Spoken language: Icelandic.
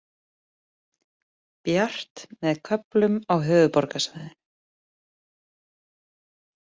Bjart með köflum á höfuðborgarsvæðinu